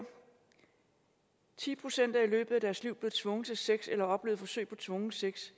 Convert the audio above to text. ti procent i løbet af deres liv er blevet tvunget til sex eller har oplevet forsøg på tvungen sex